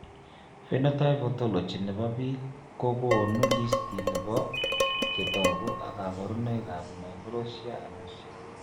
Phenotype ontology nebo biik kokoonu listini bo chetogu ak kaborunoik ab Microtia Anotia